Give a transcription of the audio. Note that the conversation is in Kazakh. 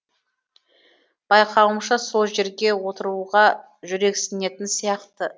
байқауымша сол жерге отыруға жүрексінетін сияқты